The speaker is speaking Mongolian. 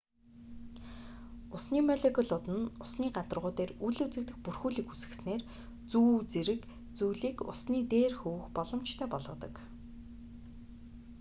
усны молекулууд нь усны гадаргуу дээр үл үзэгдэх бүрхүүлийг үүсгэснээр зүү зэрэг зүйлийг усны дээр хөвөх боломжтой болгодог